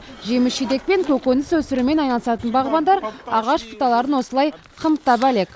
жеміс жидек пен көкөніс өсірумен айналысатын бағбандар ағаш бұталарын осылай қымтап әлек